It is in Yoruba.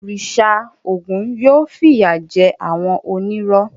Òrìṣà Ògún yóò fìyà jẹ àwọn onírọ́.